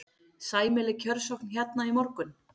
Sæmileg kjörsókn hérna í morgun?